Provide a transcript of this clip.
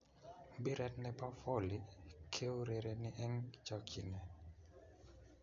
Mpiret ne bo Voli keurereni eng chokchinee.